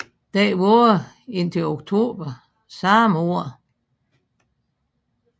Den varede indtil oktober samme år